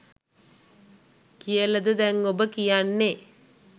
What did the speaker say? කියලද දැන් ඔබ කියන්නේ?